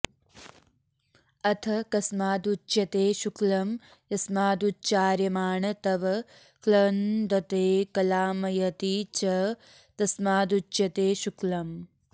अथ कस्मादुच्यते शुक्लं यस्मादुच्चार्यमाण तव क्लन्दते क्लामयति च तस्मादुच्यते शुक्लम्